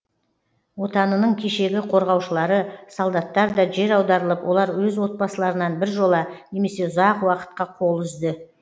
отанының кешегі корғаушылары солдаттар да жер аударылып олар өз отбасыларынан біржола немесе ұзақ уакытқа қол үзді